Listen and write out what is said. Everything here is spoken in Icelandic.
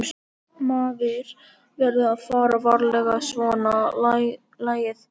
Maður verður að fara varlega í svona lagað.